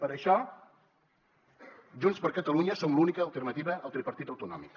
per això junts per catalunya som l’única alternativa al tripartit autonòmic